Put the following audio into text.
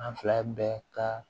An fila bɛɛ ka